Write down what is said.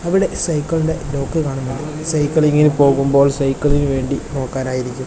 അവിടെ സൈക്കിളിന്റെ ലോക്ക് കാണുന്നുണ്ട് സൈക്കിൾ ഇങ്ങനെ പോകുമ്പോൾ സൈക്കിളിന് വേണ്ടി പോകാൻ ആയിരിക്കും.